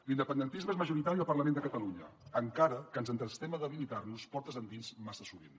l’independentisme és majoritari al parlament de catalunya encara que ens entestem a debilitar nos portes endins massa sovint